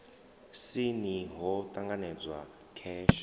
si ni ho ṱanganedzwa kheshe